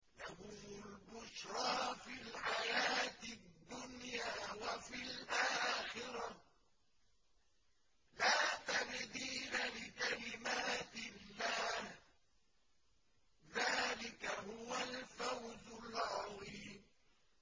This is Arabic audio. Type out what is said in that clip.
لَهُمُ الْبُشْرَىٰ فِي الْحَيَاةِ الدُّنْيَا وَفِي الْآخِرَةِ ۚ لَا تَبْدِيلَ لِكَلِمَاتِ اللَّهِ ۚ ذَٰلِكَ هُوَ الْفَوْزُ الْعَظِيمُ